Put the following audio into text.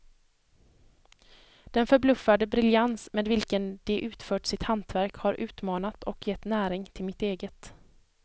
Den förbluffande briljans med vilken de utfört sitt hantverk har utmanat och gett näring till mitt eget.